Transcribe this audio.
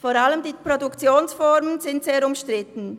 Vor allem die Produktionsformen sind sehr umstritten.